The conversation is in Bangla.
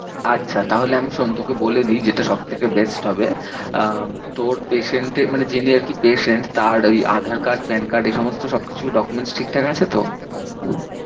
আচ্ছা তাহলে আমি সন্তুকে বলে দিই যেটা সব থেকে best হবে আহ তোর patient এ মানে যিনি আর কি patient তার ওই aadhaar card PAN card এ সমস্ত সব কিছু document ঠিক ঠাক আছে তো?